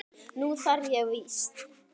Nú þarf ég víst.